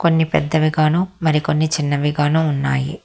కొన్ని పెద్దవిగాను మరియ కొన్ని చిన్నవిగాను ఉన్నాయి.